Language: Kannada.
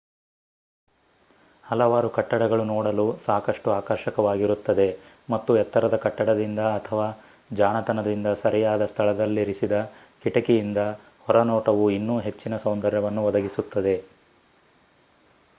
ಹಲವಾರು ಕಟ್ಟಡಗಳು ನೋಡಲು ಸಾಕಷ್ಟು ಆಕರ್ಷಕವಾಗಿರುತ್ತದೆ ಮತ್ತು ಎತ್ತರದ ಕಟ್ಟಡದಿಂದ ಅಥವಾ ಜಾಣತನದಿಂದ ಸರಿಯಾದ ಸ್ಥಳದಲ್ಲಿರಿಸಿದ ಕಿಟಕಿಯಿಂದ ಹೊರನೋಟವು ಇನ್ನೂ ಹೆಚ್ಚಿನ ಸೌಂದರ್ಯವನ್ನು ಒದಗಿಸುತ್ತದೆ